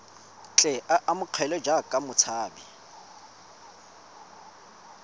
tle a amogelwe jaaka motshabi